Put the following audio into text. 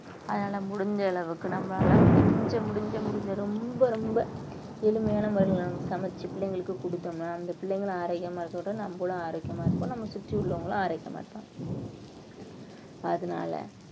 அதனால முடிஞ்ச அளவுக்கு நம்மளால முடிஞ்ச முடிஞ்ச முடிஞ்ச ரொம்ப ரொம்ப எளிமையான முறையில நாம சமைச்சு பிள்ளைங்களுக்கு குடுத்தோம்ன்னா அந்த பிள்ளைங்களும் ஆரோக்கியமா இருக்கறதோட நம்மளும் ஆரோக்கியமா இருப்போம் நம்ம சுற்றியுள்ளவங்களும் ஆரோக்கியமா இருப்போம் அதனால